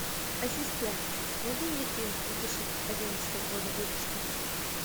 ассистент найди мне фильм две тысячи одиннадцатого года выпуска